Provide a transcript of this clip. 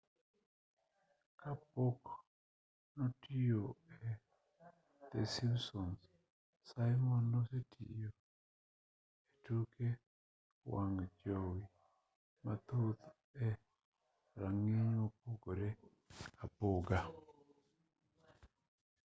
ka pok notiyo e the simpsoms simon nosetiyo e tuke wang' jowi mathoth e rang'iny mopogore opogore